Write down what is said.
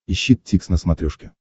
ищи дтикс на смотрешке